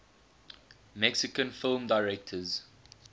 mexican film directors